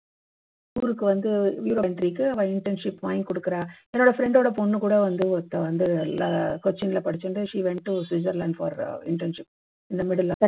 ஊருக்கு வந்து entry க்கு internship வாங்கி கொடுக்குறா என்னோட friend ஓட பொண்ணு கூட வந்து ஒருத்த வந்து ல கொச்சின்ல படிச்சுண்டு she went to switzerland for internship in the middle